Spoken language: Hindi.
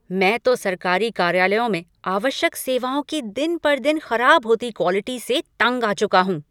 मैं तो सरकारी कार्यालयों में आवश्यक सेवाओं की दिन पर दिन खराब होती क्वॉलिटी से तंग आ चुका हूँ।